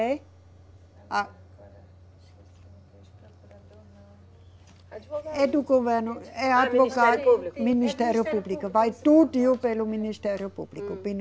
É, a procurador não, advogado. É do governo, é advogado. Ministério Público. Ministério Público, vai tudo pelo Ministério Público.